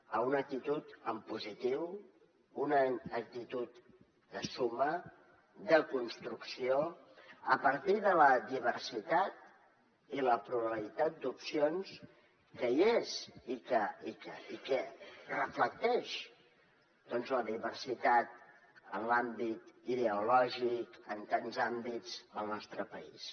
a una actitud en positiu una actitud de suma de construcció a partir de la diversitat i la pluralitat d’opcions que hi és i que reflecteix doncs la diversitat en l’àmbit ideològic en tants àmbits al nostre país